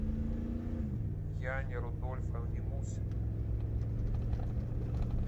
яне рудольфовне мусиной